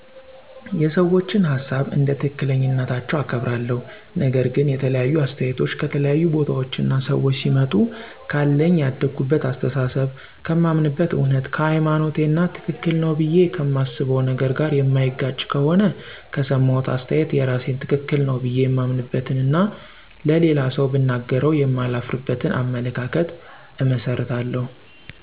የሰዎችን ሀሳብ እንደ ትክክለኛነታቸው አከብራለሁ፤ ነገር ግን የተለያዩ አስተያየቶች ከተለያዩ ቦታዎች እና ሰዎች ሲመጡ ካለኝ የአደኩበት አሰተሳሰብ፣ ከማምንበት እውነት፣ ከሀይማኖቴ እና ትክክል ነው ብዬ ከማስበው ነገር ጋር የማይጋጭ ከሆነ ከሰማሁት አስተያየት የራሴን ትክክል ነው ብዬ የማምንበትን እና ለሌላ ሠው ብናገረው የማላፍርበትን አመለካከት እመሰርታለሁ።